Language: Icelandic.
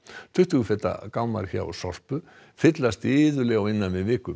tuttugu feta gámar hjá Sorpu fyllast iðulega á innan við viku